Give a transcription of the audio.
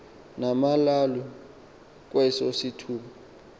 lamalawu kweso sithuba